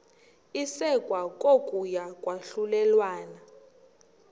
isekwa kokuya kwahlulelana